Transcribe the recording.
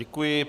Děkuji.